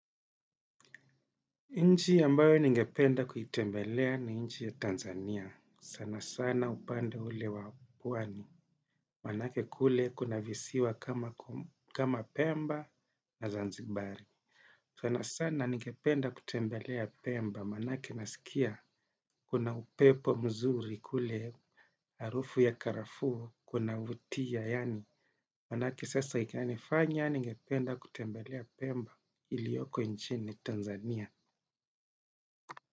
Nchi ambayo ningependa kuitembelea ni nchi ya Tanzania. Sana sana upande ule wa pwani. Manake kule kuna visiwa kama pemba na zanzibari. Sana sana ningependa kutembelea pemba. Manake nasikia kuna upepo mzuri kule harufu ya karafuu kuna vutia. Manake sasa ikani fanya ningependa kutembelea pemba ilioko nchini Tanzania.